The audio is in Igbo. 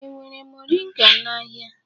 E nwere moringa n'ahịa?